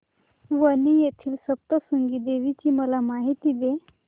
वणी येथील सप्तशृंगी देवी ची मला माहिती दे